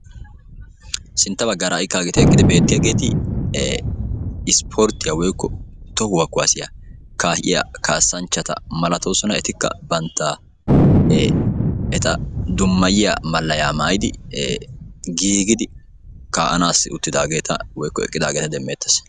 Sintta baggaara ha'ageeti eqqidi beettiyaageti tohuwaa kuwaasiyaa kaa'iyaa kaasanchchata malatoosona. etikka bantta e eta dummayiyaa malayaa maayidi giigidi ka'aanassi uttidaageta woykko eqqidaageta be'eettees.